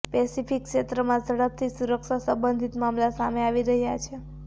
Pacific ક્ષેત્રમાં ઝડપથી સુરક્ષા સંબંધિત મામલા સામે આવી રહ્યા છે